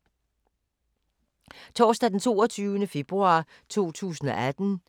Torsdag d. 22. februar 2018